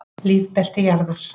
Lífbelti jarðar.